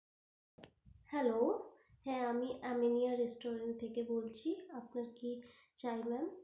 Hello হ্যাঁ আমি Aminia restaurant থেকে বলছি আপনার কি চাই ma'am?